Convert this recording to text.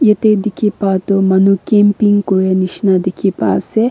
etey dikhi pah tu manu camping kuray nishina dikhi pai ase.